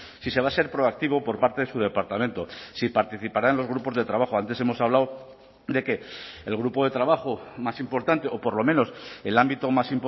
si se va a ser proactivo por parte de su departamento si participará en los grupos de trabajo antes hemos hablado de que el grupo de trabajo más importante o por lo menos el ámbito más